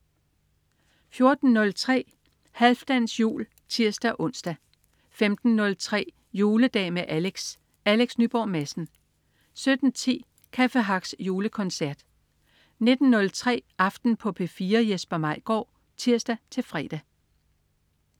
14.03 Halfdans jul (tirs-ons) 15.03 Juledag med Alex. Alex Nyborg Madsen 17.10 Café Hacks julekoncert 19.03 Aften på P4. Jesper Maigaard (tirs-fre)